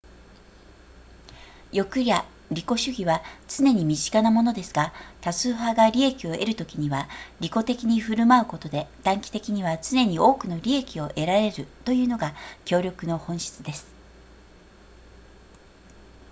欲や利己主義は常に身近なものですが多数派が利益を得るときには利己的に振る舞うことで短期的には常に多くの利益を得られるというのが協力の本質です